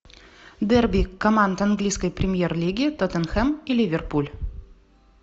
дерби команд английской премьер лиги тоттенхэм и ливерпуль